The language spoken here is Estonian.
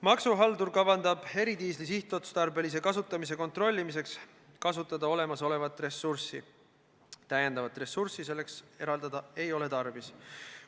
Maksuhaldur kavandab eridiisli sihtotstarbelise kasutamise kontrollimiseks kasutada olemasolevat ressurssi, täiendavat ressurssi selleks eraldada ei ole tarvis.